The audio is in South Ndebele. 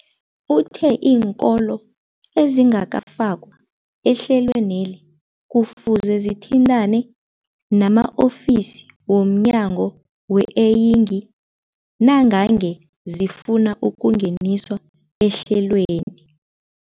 Uthe iinkolo ezingakafakwa ehlelweneli kufuze zithintane nama-ofisi wo mnyango weeyingi nangange zifuna ukungeniswa ehlelweni.